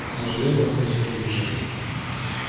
к сожалению он не успел убежать